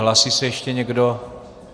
Hlásí se ještě někdo?